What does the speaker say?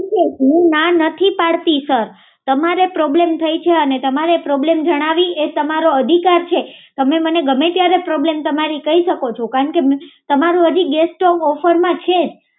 હું ના નથી પાડતી સર તમારે પ્રોબ્લેમ થઈ છે અને તમારે પ્રોબ્લેમ જણાવી એ તમારો અધિકાર છે તમે મને ગમે ત્યારે પ્રોબ્લેમ તમારી કઈ શકો છો કારણ કે તમારું હજુ ગેસ સ્ટવ ઓફર માં છે જ